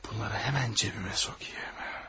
Bunları həmən cibimə sokayım.